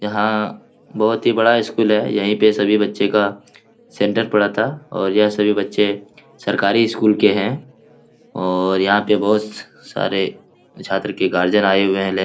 यहाँ बहुत ही बड़ा स्कूल है यहीं पे सभी बच्चे का सेंटर पड़ा था और यह सभी बच्चे सरकारी स्कूल के हैं और यहाँ पे बहोत सारे छात्र के गार्जियन आए हुए हैं लेने ।